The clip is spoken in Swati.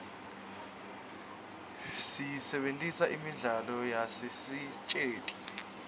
siyisebentisela imidlalo yasesiteji